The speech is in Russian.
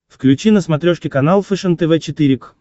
включи на смотрешке канал фэшен тв четыре к